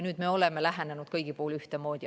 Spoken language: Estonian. Nüüd me oleme lähenenud kõigile ühtemoodi.